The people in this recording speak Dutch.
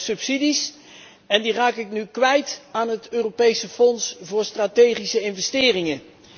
aan subsidies en die raak ik nu kwijt aan het Europees Fonds voor strategische investeringen.